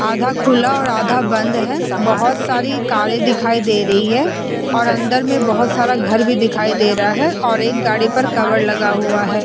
आधा खुला और आधा बंद है। बोहोत सारी कारें दिखाई दे रही है और अंदर मै बोहोत सारा घर भी दिखाई दे रहा है और एक गाड़ी पर कवर लगा हुआ है।